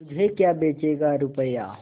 मुझे क्या बेचेगा रुपय्या